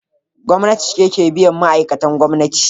Gwamnati ce ke biyan ma’aikatan gwamnati.